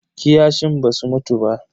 Kiyashin basu mutu ba.